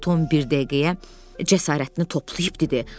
Tom bir dəqiqəyə cəsarətini toplayıb dedi.